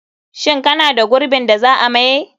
Shin kana da gurbin da za a maye?